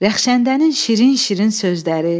Rəxşəndənin şirin-şirin sözləri.